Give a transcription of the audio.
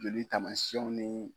Loli taamasiyɛnw ni